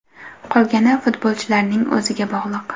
Qolgani futbolchilarning o‘ziga bog‘liq.